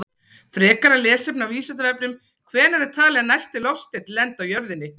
Frekara lesefni á Vísindavefnum: Hvenær er talið að næsti loftsteinn lendi á jörðinni?